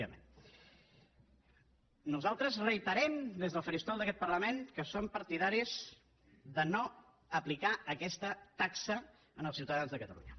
nosaltres reiterem des del faristol d’aquest parlament que som partidaris de no aplicar aquesta taxa als ciutadans de catalunya